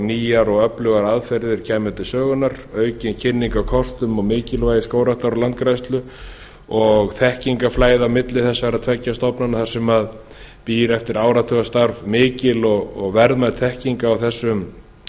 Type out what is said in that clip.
nýjar og öflugar aðferðir kæmu til sögunnar aukin kynning á kortum og mikilvægi skógræktar og landgræðslu og þekkingarflæði á milli þessara tveggja stofnana þar sem býr eftir áratugastarf mikil og verðmæt þekking á þessum